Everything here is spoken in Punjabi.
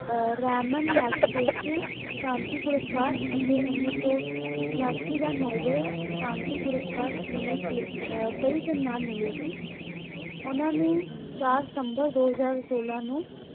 Ramen Magsessy ਸ਼ਾਂਤੀ ਪੁਰਸਕਾਰ ਅਤੇ ਉੱਨੀ ਸੌ ਉਣਾਸੀ ਦਾ Noble ਸ਼ਾਂਤੀ ਪੁਰਸਕਾਰ ਕਈ ਸੰਮਨ ਮਿਲੇ ਸੀ l ਓਹਨਾ ਨੂੰ ਚਾਰ ਸਿਤਮਬਰ ਦੋ ਹਜ਼ਾਰ ਸੋਲਾਂ ਨੂੰ